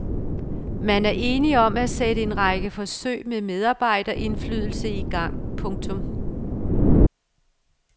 Man er enige om at sætte en række forsøg med medarbejderindflydelse i gang. punktum